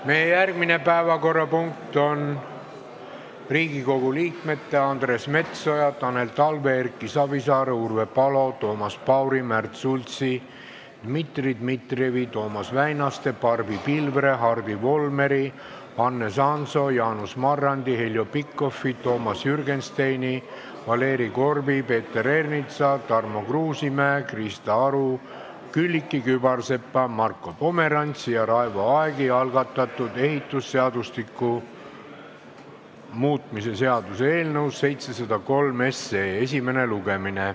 Meie järgmine päevakorrapunkt on Riigikogu liikmete Andres Metsoja, Tanel Talve, Erki Savisaare, Urve Palo, Toomas Pauri, Märt Sultsi, Dmitri Dmitrijevi, Toomas Väinaste, Barbi Pilvre, Hardi Volmeri, Hannes Hanso, Jaanus Marrandi, Heljo Pikhofi, Toomas Jürgensteini, Valeri Korbi, Peeter Ernitsa, Tarmo Kruusimäe, Krista Aru, Külliki Kübarsepa, Marko Pomerantsi ja Raivo Aegi algatatud ehitusseadustiku muutmise seaduse eelnõu 703 esimene lugemine.